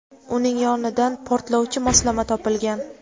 uning yonidan portlovchi moslama topilgan.